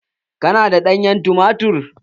Ka na da ɗanyen tumatir?